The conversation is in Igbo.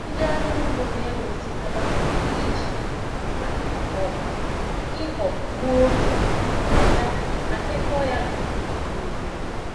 Ndị ọrụ ugbo n'ewe osikapa site n'iji mma um ịghọ gbuo ụkpụrụ ya ma kekọọ ya n'úkwù n'úkwù.